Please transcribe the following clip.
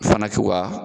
Fana k'u ka